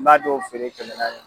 N b'a dɔw feere kɛmɛ naani